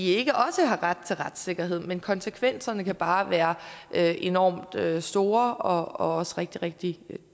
ikke også har ret til retssikkerhed men konsekvenserne kan bare være enormt store og også rigtig rigtig